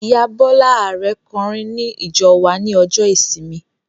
Ìyá Bọla Arẹ kọ orin ní ìjọ wa ní ọjọ ìsinmi